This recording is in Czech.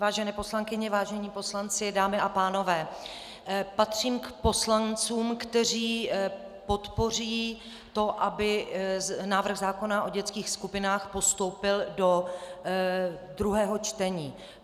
Vážené poslankyně, vážení poslanci, dámy a pánové, patřím k poslancům, kteří podpoří to, aby návrh zákona o dětských skupinách postoupil do druhého čtení.